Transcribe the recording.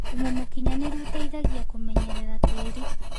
Thũmũ mũkĩnyanĩrũ ũteĩthagĩa kũmenyerera tĩĩrĩ